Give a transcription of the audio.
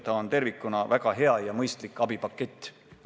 See on tervikuna väga hea ja mõistlik abipakett.